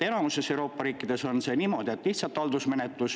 Enamuses Euroopa riikides on niimoodi, et on lihtsalt haldusmenetlus.